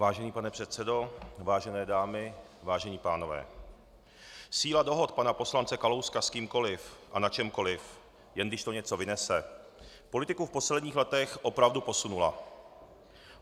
Vážený pane předsedo, vážené dámy, vážení pánové, síla dohod pana poslance Kalouska s kýmkoliv a na čemkoliv, jen když to něco vynese, politiku v posledních letech opravdu posunula.